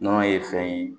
Nɔnɔ ye fɛn ye